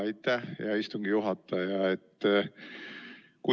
Aitäh, hea istungi juhataja!